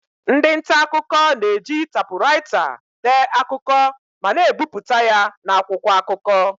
Ndị nta akụkọ na-eji tapuraita dee akụkọ ma na-ebipụta ya n'akwụkwọ akụkọ.